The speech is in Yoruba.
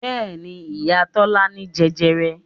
Bẹ́ẹ̀ni, ìyá Tọ́lá ní jẹjẹrẹ